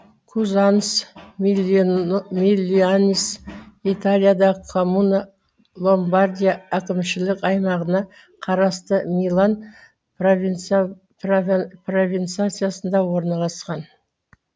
кузанс милианс италиядағы коммуна ломбардия әкімшілік аймағына қарасты милан провинциясында орналасқан